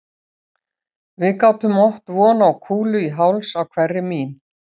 Við gátum átt von á kúlu í háls á hverri mín